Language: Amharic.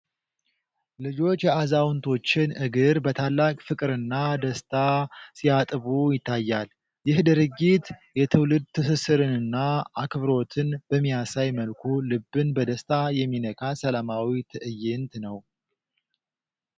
ልጆች የአዛውንቶችን እግር በታላቅ ፍቅርና ደስታ ሲያጥቡ ይታያል። ይህ ድርጊት የትውልድ ትስስርንና አክብሮትን በሚያሳይ መልኩ ልብን በደስታ የሚነካ ሰላማዊ ትዕይንት ነው።